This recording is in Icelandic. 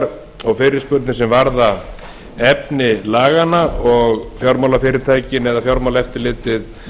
ábendingar og fyrirspurnir sem varða efni laganna og fjármálafyrirtækin eða fjármálaeftirlitið